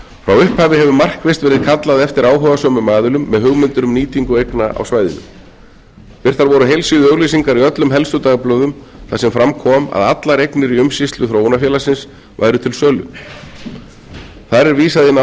frá upphafi hefur markvisst verið kallað eftir áhugasömum aðilum með hugmyndir um nýtingu eigna á svæðinu birtar voru heilsíðuauglýsingar í öllum helstu dagblöðum þar sem fram kom að allar eignir í umsýslu þróunarfélagsins væru til sölu þar er vísað